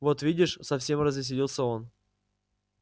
вот видишь совсем развеселился он